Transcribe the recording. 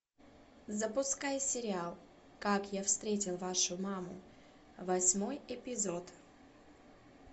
запускай сериал как я встретил вашу маму восьмой эпизод